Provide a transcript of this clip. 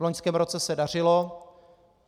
V loňském roce se dařilo.